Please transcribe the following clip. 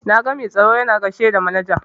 Na ga mai tsaro yana gaishe da manaja.